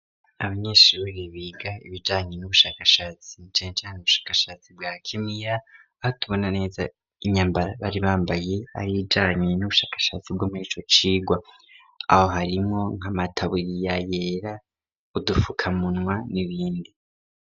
Abanyeshure biga ibijanye n'ubushakashatsi cenka n' ubushakashatsi bwa kimiya batubona neza inyambara bari bambaye ari ijanye n'ubushakashatsi bwomeye bwo muri ico cigwa aho harimwo nkamataburiya yera udufuka munwa n'ibindi.